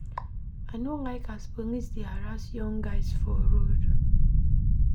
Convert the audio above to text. I no like as police dey harass young guys for road.